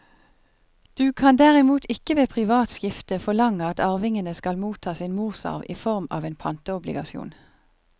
Du kan derimot ikke ved privat skifte forlange at arvingene skal motta sin morsarv i form av en pantobligasjon.